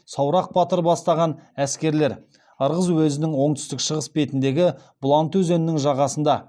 саурық батыр бастапан әскерлер ырғыз уезінің оңтүстік шығыс бетіндегі бұланты өзенінің жағасында